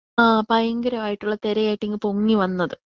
ആ ഭയങ്കരമായിട്ടുള്ള തെരയായിട്ട് ഇങ്ങ് പൊങ്ങി വന്നത്.